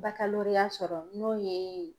sɔrɔ n'o ye